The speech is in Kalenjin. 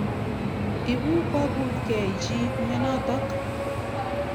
Ipu kokut kei chi mianotok.